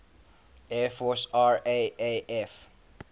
air force raaf